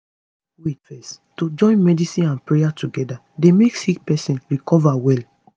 wait fezz to join medicine and prayer together dey make sick pesin recover well